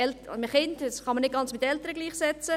Kinder und Eltern kann man nicht ganz gleichsetzen.